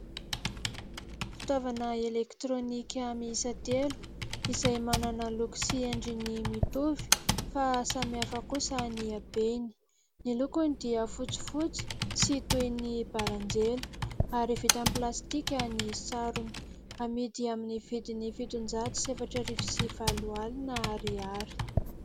Fitaovana elektrônika miisa telo, izay manana loko sy endriny mitovy fa samihafa kosa ny habeny. Ny lokony dia fotsifotsy sy toy ny baranjely, ary vita amin'ny plastika ny sarony. Amidy amin'ny vidiny fitonjato sy efatra arivo sy valo alina ariary.